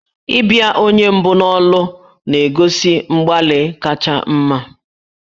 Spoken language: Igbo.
Ịbịa onye mbụ n'ụlọ akwụkwọ na-egosi mgbalị kacha mma.